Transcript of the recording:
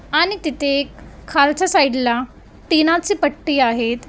आणि तिथे एक खालच्या साईड ला टीना चे पट्टी आहेत.